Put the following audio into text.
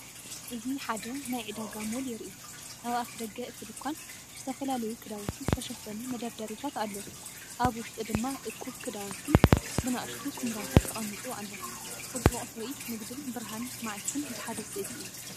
እዚ ሓደ ናይ ዕዳጋ ሞል የርኢ። ኣብ ኣፍደገ እቲ ድኳን ብዝተፈላለዩ ክዳውንቲ ዝተሸፈኑ መደርደሪታት ኣለዉ፤ ኣብ ውሽጢ ድማ እኩብ ክዳውንቲ ብንኣሽቱ ኵምራታት ተቐሚጡ ኣሎ። ጽቡቕ ትርኢት ንግድን ብርሃን መዓልትን ብሓደ ስእሊ እዩ።